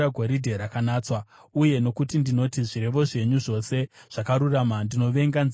uye nokuti ndinoti zvirevo zvenyu zvose zvakarurama, ndinovenga nzira dzose dzakaipa.